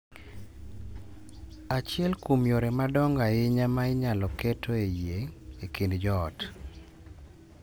Achiel kuom yore madongo ahinya ma inyalo ketoe yie e kind joot .